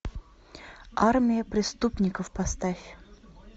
армия преступников поставь